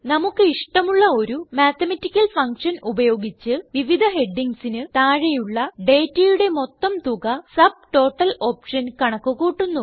നമുക്ക് ഇഷ്ടമുള്ള ഒരു മാത്തമാറ്റിക്കൽ ഫങ്ഷൻ ഉപയോഗിച്ച് വിവിധ ഹെഡിംഗ്സിന് താഴെയുള്ള ഡേറ്റയുടെ മൊത്തം തുക സബ്ടോട്ടൽ ഓപ്ഷൻ കണക്ക് കൂട്ടുന്നു